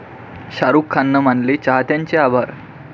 शाहरुखनं मानले चाहत्यांचे आभार